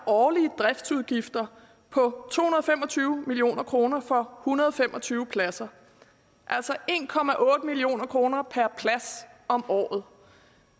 årlige driftsudgifter på to hundrede og fem og tyve million kroner for hundrede og fem og tyve pladser altså en million kroner per plads om året